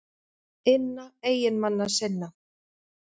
inna eiginmanna sinna.